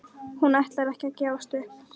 Hún ætlar ekki að gefast upp!